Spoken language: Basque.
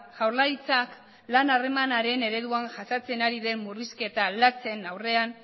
jaurlaritzak lan harremanaren ereduan jasaten ari den murrizketa latzen aurrean